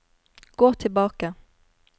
gå tilbake